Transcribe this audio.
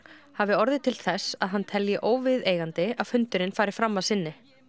hafi orðið til þess að hann telji óviðeigandi að fundurinn fari fram að sinni